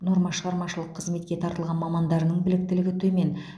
норма шығармашылық қызметке тартылған мамандарының біліктілігі төмен